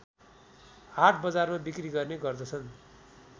हाटबजारमा बिक्री गर्ने गर्दछन्